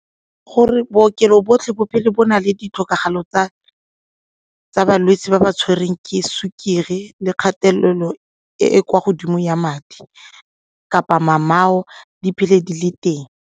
Gore bookelo botlhe bo phele bo na le ditlhokego tsa balwetse ba ba tshwereng ke sukiri le kgatelelo e e kwa godimo ya madi kapa di phele di le teng.